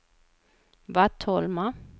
Vattholma